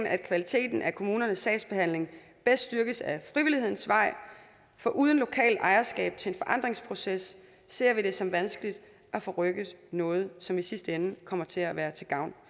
at kvaliteten af kommunernes sagsbehandling bedst styrkes ad frivillighedens vej for uden lokalt ejerskab til forandringsprocesser ser vi det som vanskeligt at få rykket noget som i sidste ende kommer til at være til gavn